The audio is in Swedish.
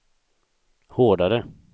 hårdare